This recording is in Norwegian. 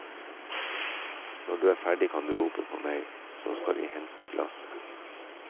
Når du er ferdig kan du rope på meg så skal jeg hente glasset.